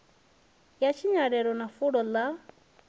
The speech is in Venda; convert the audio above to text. ya tshinyalelo na fulo ḽa